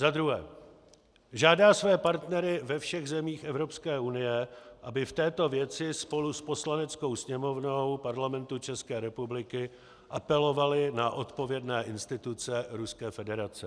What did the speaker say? Za druhé žádá své partnery ve všech zemích Evropské unie, aby v této věci spolu s Poslaneckou sněmovnou Parlamentu České republiky apelovali na odpovědné instituce Ruské federace.